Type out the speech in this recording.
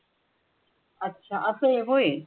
अछा असे होईल